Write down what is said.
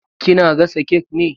Ki na gasa kek ne?